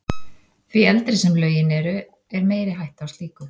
Því eldri sem lögin eru, er meiri hætta á slíku.